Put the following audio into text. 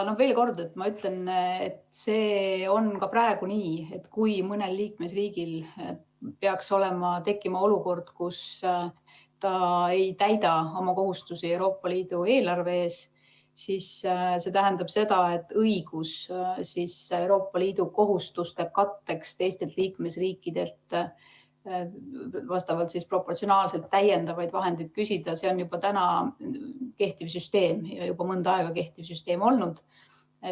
Veel kord, ma ütlen, et see on ka praegu nii, et kui mõnel liikmesriigil peaks tekkima olukord, kus ta ei täida oma kohustusi Euroopa Liidu eelarve ees, siis õigus Euroopa Liidu kohustuste katteks teistelt liikmesriikidelt proportsionaalselt täiendavaid vahendeid küsida on kehtiv süsteem ja see on juba mõnda aega kehtiv süsteem olnud.